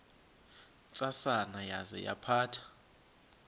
ntsasana yaza yaphatha